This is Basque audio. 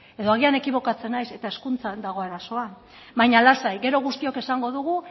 edo agian ekibokatzen naiz eta hezkuntzan dago arazoa baina lasai gero guztiok esango dugu